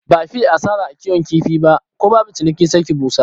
Ba fiye asara a kiwon kifi ba, ko babu ciniki sai ki busar.